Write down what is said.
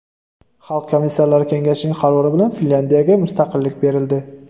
Xalq komissarlari kengashining qarori bilan Finlyandiyaga mustaqillik berildi.